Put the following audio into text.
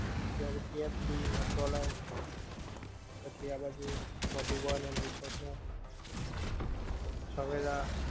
પછી ઓલું KFC McDonald. પછી આ બાજુ મધુવન એન્ રિસોર્ટ નું. સવેરા,